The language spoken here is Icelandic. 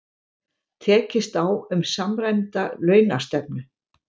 Tekist á um samræmda launastefnu